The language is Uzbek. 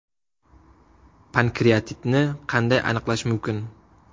Pankreatitni qanday aniqlash mumkin?